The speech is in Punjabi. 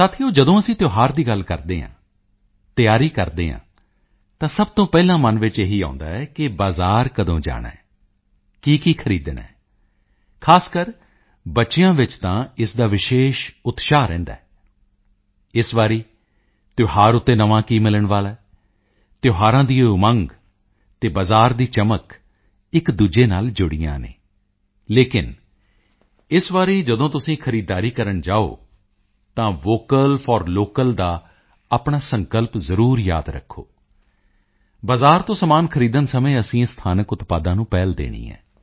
ਸਾਥੀਓ ਜਦੋਂ ਅਸੀਂ ਤਿਓਹਾਰ ਦੀ ਗੱਲ ਕਰਦੇ ਹਾਂ ਤਿਆਰੀ ਕਰਦੇ ਹਾਂ ਤਾਂ ਸਭ ਤੋਂ ਪਹਿਲਾਂ ਮਨ ਵਿੱਚ ਇਹੀ ਆਉਂਦਾ ਹੈ ਕਿ ਬਾਜ਼ਾਰ ਕਦੋਂ ਜਾਣਾ ਹੈ ਕੀਕੀ ਖਰੀਦਣਾ ਹੈ ਖਾਸਕਰ ਬੱਚਿਆਂ ਵਿੱਚ ਤਾਂ ਇਸ ਦਾ ਵਿਸ਼ੇਸ਼ ਉਤਸ਼ਾਹ ਰਹਿੰਦਾ ਹੈ ਇਸ ਵਾਰੀ ਤਿਓਹਾਰ ਉੱਤੇ ਨਵਾਂ ਕੀ ਮਿਲਣ ਵਾਲਾ ਹੈ ਤਿਓਹਾਰਾਂ ਦੀ ਇਹ ਉਮੰਗ ਅਤੇ ਬਾਜ਼ਾਰ ਦੀ ਚਮਕ ਇੱਕਦੂਜੇ ਨਾਲ ਜੁੜੀਆਂ ਹੋਈਆਂ ਹਨ ਲੇਕਿਨ ਇਸ ਵਾਰੀ ਜਦੋਂ ਤੁਸੀਂ ਖਰੀਦਦਾਰੀ ਕਰਨ ਜਾਓ ਤਾਂ ਵੋਕਲ ਫੋਰ ਲੋਕਲ ਦਾ ਆਪਣਾ ਸੰਕਲਪ ਜ਼ਰੂਰ ਯਾਦ ਰੱਖੋ ਬਾਜ਼ਾਰ ਤੋਂ ਸਮਾਨ ਖਰੀਦਦੇ ਸਮੇਂ ਅਸੀਂ ਸਥਾਨਕ ਉਤਪਾਦਾਂ ਨੂੰ ਪਹਿਲ ਦੇਣੀ ਹੈ